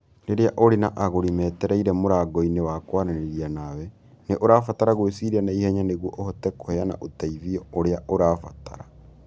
Rĩrĩa ũrĩ na agũri metereire mũrango-inĩ wa kwaranĩria nawe, nĩ ũrabatara gwĩciria na ihenya nĩguo ũhote kũheana ũteithio ũrĩa ũrabatara.